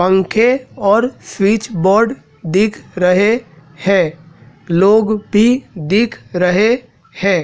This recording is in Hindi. पंखे और स्विच बोर्ड दिख रहे है लोग भी दिख रहे है।